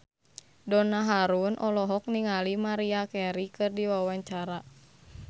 Donna Harun olohok ningali Maria Carey keur diwawancara